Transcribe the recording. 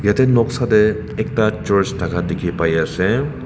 Yatheh noksa dae ekta church thaka dekhe pai ase.